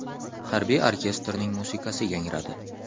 Harbiy orkestrning musiqasi yangradi.